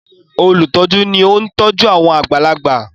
olutọju ní oun tọjú àwọn àgbàlagbà.